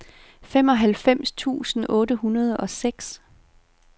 femoghalvfems tusind otte hundrede og seks